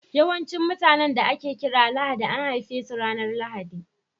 Yawancin mutanen da ake kira Lahadi an haife su ranar Lahadi.